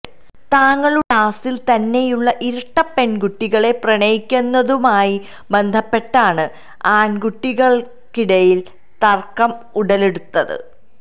തങ്ങളുടെ ക്ളാസില് തന്നെയുള്ള ഇരട്ട പെണ്കുട്ടികളെ പ്രണയിക്കുന്നതുമായി ബന്ധപ്പെട്ടാണ് ആണ്കുട്ടികള്ക്കിടയില് തര്ക്കം ഉടലെടുത്തത്